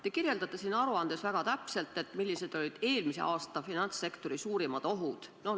Te kirjeldate siin aruandes väga täpselt, millised olid eelmise aasta finantssektori suurimad ohud.